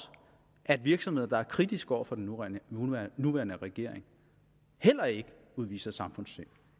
at virksomheder der er kritiske over for den nuværende nuværende regering heller ikke udviser samfundssind